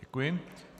Děkuji.